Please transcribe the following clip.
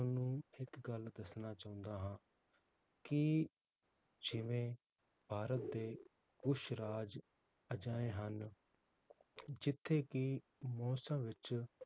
ਤੁਹਾਨੂੰ ਇਕ ਗੱਲ ਦੱਸਣਾ ਚਾਹੁੰਦਾ ਹਾਂ ਕਿ ਜਿਵੇ ਭਾਰਤ ਦੇ ਉਸ ਰਾਜ ਅਜਿਹੇ ਹਨ ਜਿਥੇ ਕਿ ਮੌਸਮ ਵਿਚ